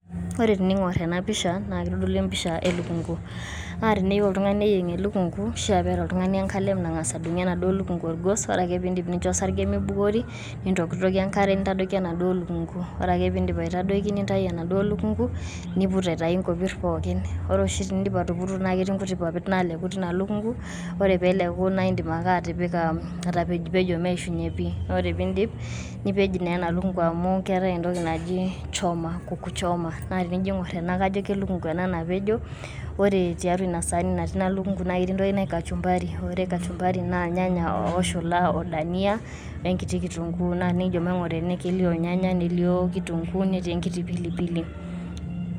Ore tening`or ena pisha naa keitodolu empisha e lukungu. Naa teneyieu oltung`aani neyieng elukungu naa keishia neeta oltung`ani enkalem nang`as adung`ie enaduo lukungu olgos. Ore ake pee idip nincho osarge meibukori nintokitokie enkare nintadoiki enaduo lukungu. Ore pee idim aitadoiki nintayu enaduo lukungu niput aitayu nkopirr pookin. Ore oshi tenidip atuputo naa ketii nkutik papit naaleku teina lukungu. Ore pee eleku naa idip ake atipika, atapejopejo meishunye pii. Naa ore pee idip nipej taa ena lukungu amu keetae entoki naji choma, kuku choma. Naa tenijo aing`orr ena naa kajo elukungu ena napejo. Ore tiatua ina saani natii ina lukungu na ketii entoki naji kachumbari naa ore kachumbari naa ilnyanya ooshula o dhania o nkiti kitunguu. Naa tenijo maing`ura ene naa kelio ilnyanya nelio kitunguu netii enkiti pilipili.